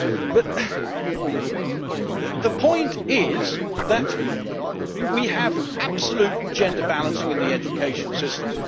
But the point is that we absolutely have gender balancing in the education system.